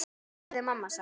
Hvað hefði mamma sagt?